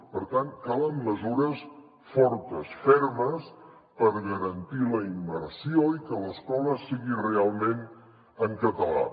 per tant calen mesures fortes fermes per garantir la immersió i que l’escola sigui realment en català